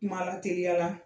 Kuma lateliya la